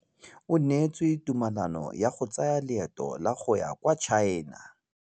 O neetswe tumalanô ya go tsaya loetô la go ya kwa China.